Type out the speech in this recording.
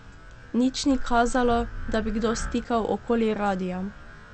Nič ni kazalo, da bi kdo stikal okoli radia.